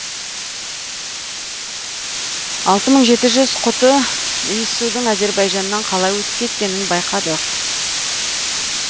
алты мың жеті жүз құты иіссудың әзербайжаннан қалай өтіп кеткенін байқадық